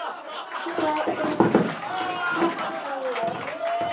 Þar er laxa von.